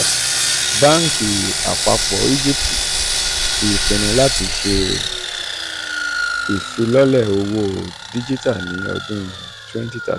banki apapo egypt ti pinnu lati ṣe pinnu lati ṣe ifilọlẹ owo dijita ni odun twenty thirty